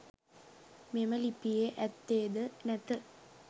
මෙම ලිපියේ ඇත්තේද නැත.